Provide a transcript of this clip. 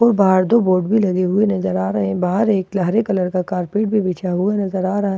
और बाहर दो बोर्ड भी लगे हुए नजर आ रहे हैं बाहर एक गहरे कलर का कारपेट भी बिछा हुआ नजर आ रहा है और--